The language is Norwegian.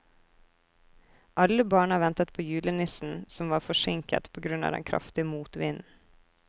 Alle barna ventet på julenissen, som var forsinket på grunn av den kraftige motvinden.